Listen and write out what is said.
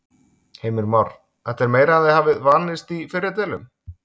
Heimir Már: Þetta er meira en þið hafið vanist í fyrri deilum?